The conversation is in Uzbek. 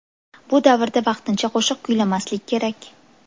Bu davrda vaqtincha qo‘shiq kuylamaslik kerak.